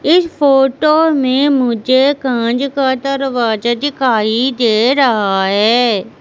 इस फोटो में मुझे कांच का दरवाजा दिखाई दे रहा है।